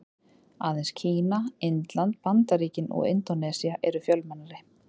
Aðeins Kína, Indland, Bandaríkin og Indónesía eru fjölmennari.